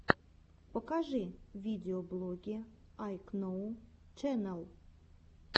покажи видеоблоги айкноу ченэл